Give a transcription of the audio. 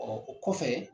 o kɔfɛ